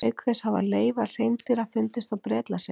Auk þess hafa leifar hreindýra fundist á Bretlandseyjum.